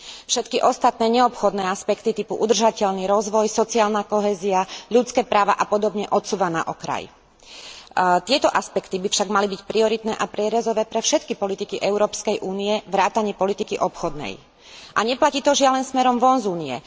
Všetky ostatné neobchodné aspekty typu udržateľný rozvoj, sociálna kohézia, ľudské práva a podobne odsúva na okraj. Tieto aspekty by však mali byť prioritné a prierezové pre všetky politiky Európskej únie vrátane politiky obchodnej. A neplatí to, žiaľ, len smerom von z Únie.